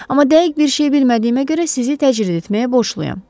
Amma dəqiq bir şey bilmədiyimə görə sizi təcrid etməyə borcluyam.